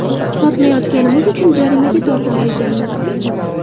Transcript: Sotmayotganimiz uchun jarimaga tortilar ekanmiz.